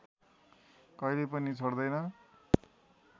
कहिल्यै पनि छोड्दैन